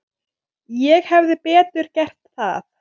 Ég hefði betur gert það.